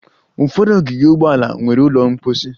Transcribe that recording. Ụfọdụ ogige ụgbọala nwere ụlọ mposi